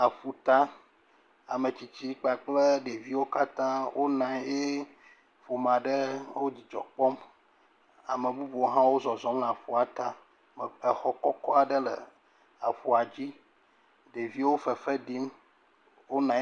Aƒuta, ametsitsi kpakple ɖeviwo katã wonɔ anyi he ƒome aɖe wo dzidzɔ kpɔm. Ame bubuwo hã zɔzɔm le aƒuata. Exɔ kɔkɔ aɖe le aƒua dzi. Ɖeviwo fefe ɖim, wonɔ anyi.